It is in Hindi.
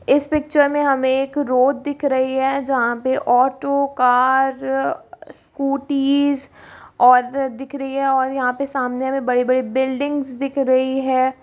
इस पिक्चर में हमें एक रोड दिख रही है जहां पे ऑटो कार स्कूटी और दिख रही है और यहां पे सामने में बड़ी-बड़ी बिल्डिंग्स दिख रही है।